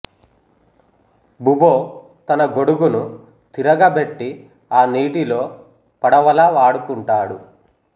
బుబొ తన గొడుగును తిరగ బెట్టి ఆ నీటిలో పడవలా వాడుకుంటాడు